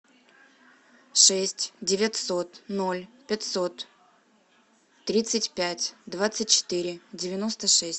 шесть девятьсот ноль пятьсот тридцать пять двадцать четыре девяносто шесть